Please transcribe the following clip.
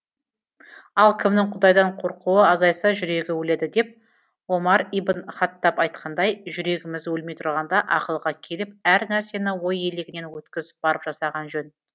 ал кімнің құдайдан қорқуы азайса жүрегі өледі деп омар ибн хаттаб айтқандай жүрегіміз өлмей тұрғанда ақылға келіп әр нәрсені ой елегінен өткізіп барып жасаған жөн